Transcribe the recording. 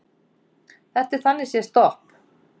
Þetta er þannig séð stopp